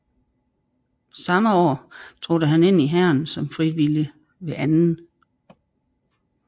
Samme år trådte han ind i Hæren som frivillig ved 2